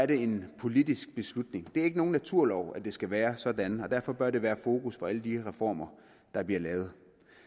det en politisk beslutning det er ikke nogen naturlov at det skal være sådan og derfor bør det være fokus for alle de reformer der bliver lavet